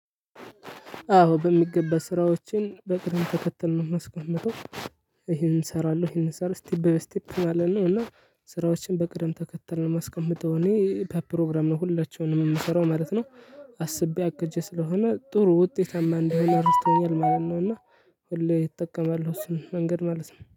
አዎ በሚገባ ስራዎችን በቅድም ተከትል ነው የማስቀምጠው። ይሄን እሰራለሁ ይሄን እሰራለሁ ስቴፕ ባይ ስቴፕ ማለት ነው። እና ስራዎችን በቅደም ተከተል ነው የማስቀምጠው እኔ በፕሮግራም ነው ሁላቸውንም የምሰራው ማለት ነው። አስቤ አቅጀ ስለሆነ ጥሩ ውጤታማ እንድሆን እረድተውኛል ማለት ነው። እና ሁሌ እጠቀማለሁ እሱን መንገድ ማለት ነው